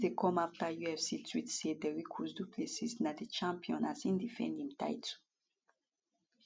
dis dey come afta ufc tweet say dricus du plessis na di champion as e defend im title